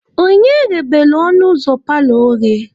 Onye ghebelu ọnụ ụzọ paalọ oghe?